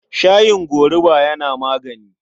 Shayin gorubu yana magani.